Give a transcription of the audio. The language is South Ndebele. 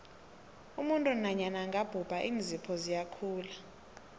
umuntu nanyana angabhubha iinzipho ziyakhula